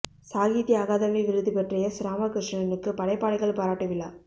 சாகித்ய அகாதமி விருது பெற்ற எஸ் ராமகிருஷணனுக்குப் படைப்பாளிகள் பாராட்டு விழா